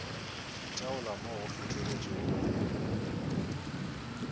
itaola mo go feteletšego go